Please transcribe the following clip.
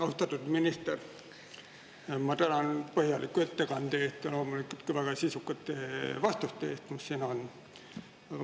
Austatud minister, ma tänan põhjaliku ettekande eest ja loomulikult ka väga sisukate vastuste eest, mis siin on olnud.